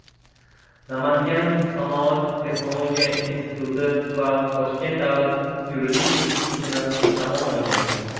Namangan sanoat-texnologiya instituti va Toshkent yuridik institutini tamomlagan.